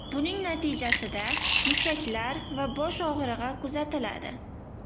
Buning natijasida mushaklar va bosh og‘rig‘i kuzatiladi.